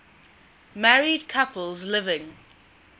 married couples living